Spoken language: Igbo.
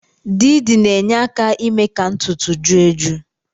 Didi na-enyeaka ime ka ntutu ju eju